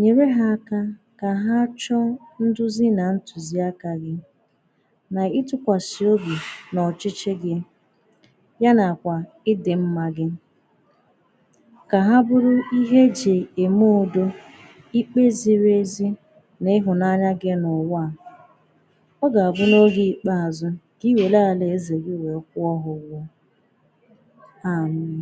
nyerè hà akà kà hà chụ̀ nduzì nà ntụzị̀ aka gị̀ n’ịtụkwàsị̀ obi n’ọchịchị gị̀ yà nakwà ịdị̀ mmà gị̀ kà hà bụrụ̀ ihe ejì emè udo ikpe zirì ezì n’ịhụnanyà gị̀ n’ụwà ọ ga-abụ̀ n’ogè ikpeazụ̀ kà iwerè alìezè gị̀ wee kwụọ̀ hà ụgwọ̀ Amm!